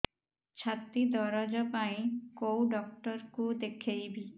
ଛାତି ଦରଜ ପାଇଁ କୋଉ ଡକ୍ଟର କୁ ଦେଖେଇବି